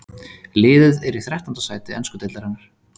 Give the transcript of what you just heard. Liðið er í þrettánda sæti ensku deildarinnar.